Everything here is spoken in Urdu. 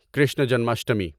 کرشنا جنماشٹمی